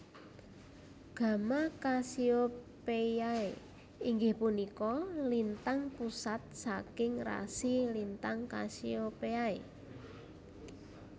Gamma Cassiopeiae inggih punika lintang pusat saking rasi lintang Cassiopeiae